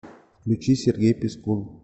включи сергей пискун